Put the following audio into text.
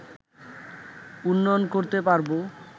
উন্নয়ন করতে পারবো